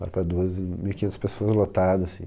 Lá para duas, mil e quinhentas pessoas lotado assim.